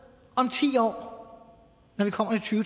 om ti år når vi kommer til